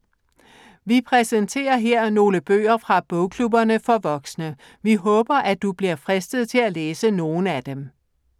Vi præsenterer her nogle bøger fra bogklubberne for voksne. Vi håber, at du bliver fristet til at læse nogle af dem.